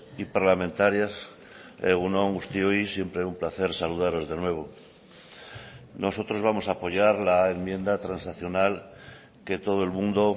y parlamentarias egun on guztioi siempre un placer saludaros de nuevo nosotros vamos a apoyar la enmienda transaccional que todo el mundo